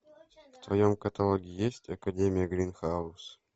в твоем каталоге есть академия гринхаус